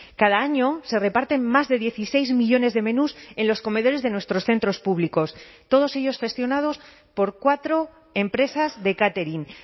cada año se reparten más de dieciséis millónes de menús en los comedores de nuestros centros públicos todos ellos gestionados por cuatro empresas de catering